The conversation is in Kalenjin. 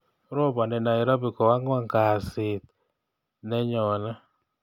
Ropani nairobi ko angwan kasit nenyone